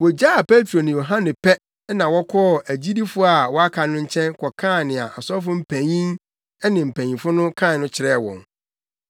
Wogyaa Petro ne Yohane pɛ na wɔkɔɔ agyidifo a wɔaka no nkyɛn kɔkaa nea asɔfo mpanyin ne mpanyimfo no kae no kyerɛɛ wɔn.